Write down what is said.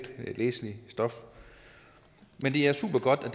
er letlæseligt stof men det er supergodt at